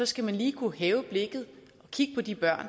skal man lige kunne hæve blikket og kigge på de børn